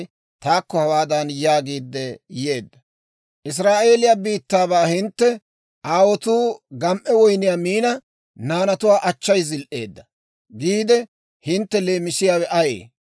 «Israa'eeliyaa biittaabaa hintte, ‹Aawotuu gam"e woyniyaa miina, naanatuwaa achchay zil"eedda› giide hintte leemisiyaawe ayee?